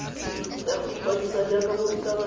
ya go ikwadisa jaaka morutabana